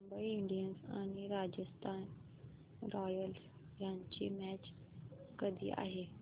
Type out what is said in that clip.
Mumbai Indians आणि Rajasthan Royals यांची match कधी आहे